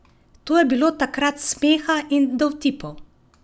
To je bilo takrat smeha in dovtipov!